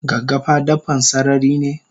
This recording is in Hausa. Gaggafa dabban sararine?